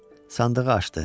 Sandığı açdı.